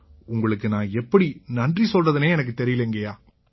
உங்களுக்கு நான் எப்படி நன்றி சொல்றதுன்னே எனக்குத் தெரியலைங்கய்யா